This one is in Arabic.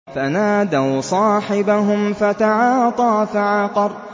فَنَادَوْا صَاحِبَهُمْ فَتَعَاطَىٰ فَعَقَرَ